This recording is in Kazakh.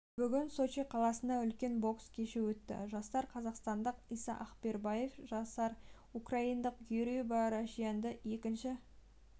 бүгін сочи қаласында үлкен бокс кеші өтті жасар қазақстандық иса ақбербаев жасар украиналық юрий барашьянді екінші